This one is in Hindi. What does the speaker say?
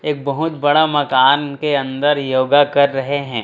एक बहुत बड़ा मकान के अंदर योग कर रहे हैं।